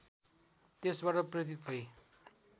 त्यसबाट प्रेरित भई